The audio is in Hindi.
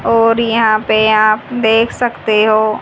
और यहां पे आप देख सकते हो--